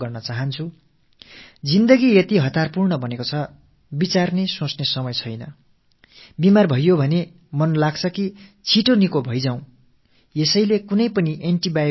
வாழ்க்கை எந்த அளவுக்கு அவசரகதி கொண்டதாகவும் வேகமானதாகவும் ஆகி விட்டதென்றால் சில வேளைகளில் நம்மைப் பற்றி சிந்திக்கக் கூட நமக்கு நேரமில்லாமல் போய் விடுகிறது